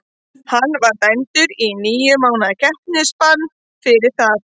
Hann var dæmdur í níu mánaða keppnisbann fyrir það.